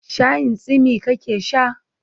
Shayin tsimi ka ke sha?